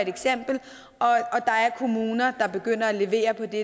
kommuner der begynder at levere på det